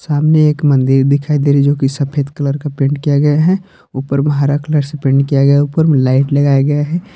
सामने एक मंदिर दिखाई दे रही जो की सफेद कलर का पेंट किया गया है ऊपर मे हारा कलर से पेंट किया गया ऊपर में लाइट लगाया गया है।